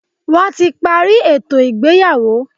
Wọ́n ti parí ètò ìgbéyàwó.